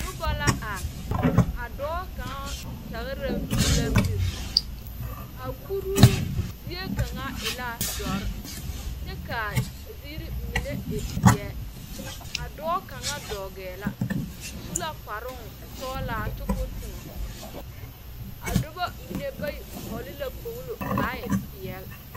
Nuba la arẽ,a doɔ kanga tagra la miri a kuruu zie kanga e la duro kye ka a ziiri mene e zeɛ a doɔ kanga doɔgee la ɔ su la kparung sɔglaa kye kou toung a duba mene bayi vɔgli la kpogli kaa peɛle.